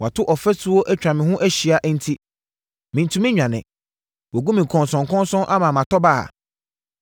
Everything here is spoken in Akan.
Wato ɔfasuo atwa me ho ahyia enti mentumi nnwane; wagu me nkɔnsɔnkɔnsɔn ama matɔ baha.